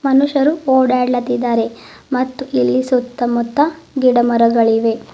ಮನುಷ್ಯರು ಓಲ್ಡ್ಲಾತಿದ್ದಾರೆ ಮತ್ ಇಲ್ಲಿ ಸುತ್ತಮುತ್ತ ಗಿಡ ಮರಗಳಿವೆ.